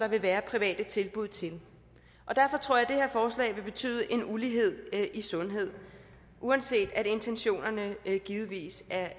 vil være private tilbud til og derfor tror jeg forslag vil betyde en ulighed i sundhed uanset at intentionerne givetvis er